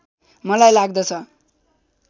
मलाई लाग्दछ